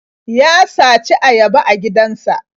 Ya saci ayaba a gidansa.